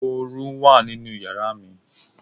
Oru wà nínú yàrá mi.